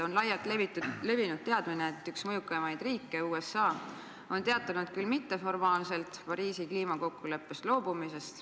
On laialt teada, et üks mõjukaimaid riike USA on teatanud – küll mitteformaalselt – Pariisi kliimakokkuleppest loobumisest.